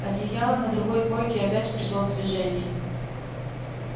одеяло на другой койке опять пришло в движение